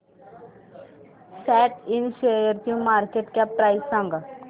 सॅट इंड शेअरची market cap price सांगा